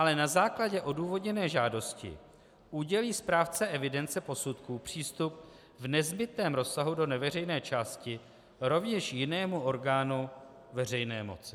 Ale na základě odůvodněné žádosti udělí správce evidence posudků přístup v nezbytném rozsahu do neveřejné části rovněž jinému orgánu veřejné moci.